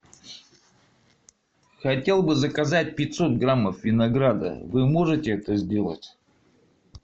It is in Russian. хотел бы заказать пятьсот граммов винограда вы можете это сделать